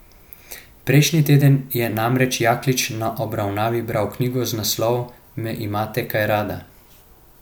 Prejšnji teden je namreč Jaklič na obravnavi bral knjigo z naslovom Me imata kaj rada.